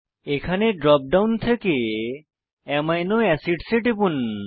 এখানে drop down থেকে amino acids এ টিপুন